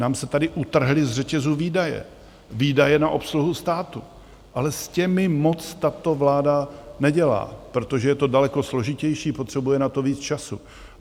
Nám se tady utrhly z řetězu výdaje, výdaje na obsluhu státu, ale s těmi moc tato vláda nedělá, protože je to daleko složitější, potřebuje na to víc času.